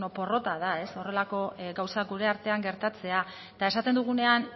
porrota da horrelako gauzak gure artean gertatzea eta esaten dugunean